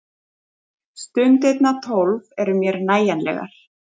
Stundirnar tólf eru mér nægjanlegar.